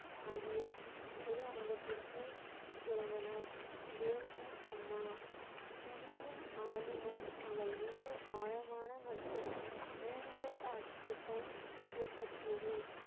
ஆகியோர் குரு அங்கத்திற்கு பிறந்தனர். தேவ் ஜி அம்மா கிவியின் ஆளுமை அவள் மீது ஆழமான மற்றும் நீடித்த தாக்கத்தை ஏற்படுத்தியது.